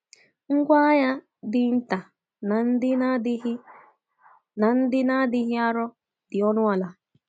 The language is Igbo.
Ngwá agha dị nta na ndị na-adịghị na ndị na-adịghị arọ dị ọnụ ala.